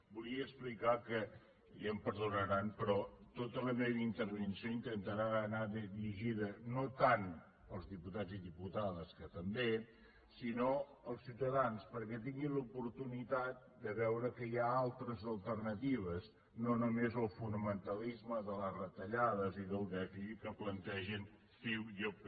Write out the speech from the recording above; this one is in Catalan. volia explicar que ja em perdonaran però tota la meva intervenció intentarà anar dirigida no tant als diputats i diputades que també sinó als ciutadans perquè tinguin l’oportunitat de veure que hi ha altres alternatives no només el fonamentalisme de les retallades i del dèficit que plantegen ciu i el pp